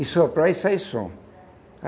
e soprar e sai som.